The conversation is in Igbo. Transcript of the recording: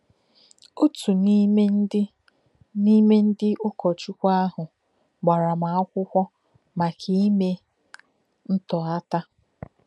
Òtù n’ime ndị n’ime ndị ụ̀kọ́chukwu ahụ gbàrà m akwụkwọ maka imè ntọ́ghàtà.